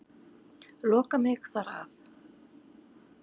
Loka mig þar af.